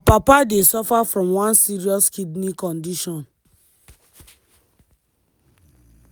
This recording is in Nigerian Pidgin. her papa dey suffer from one serious kidney condition.